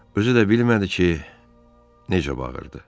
Özü də bilmədi ki, necə bağırdı.